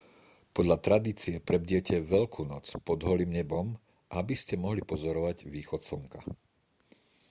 podľa tradície prebdiete veľkú noc pod holým nebom aby ste mohli pozorovať východ slnka